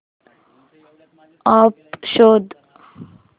app शोध